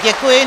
Děkuji.